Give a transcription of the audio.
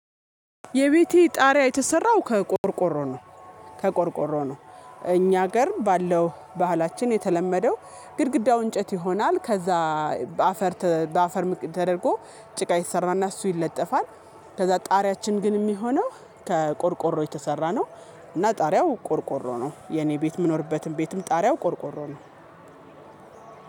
የቤቴ ጣሪያ የተሰራው ከቆርቆሮ ነው። ከቆርቆሮ ነው። እኛ ሀገር ባለው ባህላችን የተለመደው ግድግዳው እንጨት ይሆናል ከዛ በአፈር በአፈር ተደርጎ ጭቃ የተሰራና እሱ ይለጠፋል። ከዛ ጣሪያችን ግን የሚሆነው ከቆርቆሮ የተሰራ ነው። እና ጣሪያው ቆርቆሮ ነው የኔ ቤት የምኖርበትን ቤትም ጣሪያው ቆርቆሮ ነው።